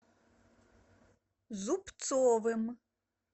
зубцовым